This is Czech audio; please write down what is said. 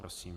Prosím.